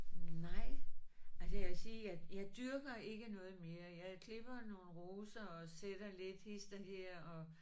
Nej altså jeg vil sige jeg jeg dyrker ikke noget mere jeg klipper nogle roser og sætter lidt hist og her og